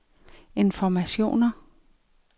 informationer